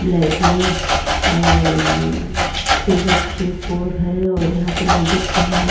Flat में और three बच्चें फोर हैं और यहाँ पे लेडीज़ भी हैं।